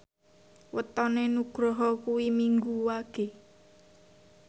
wetone Nugroho kuwi Minggu Wage